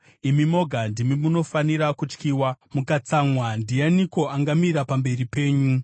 Imi moga ndimi munofanira kutyiwa. Mukatsamwa, ndianiko angamira pamberi penyu?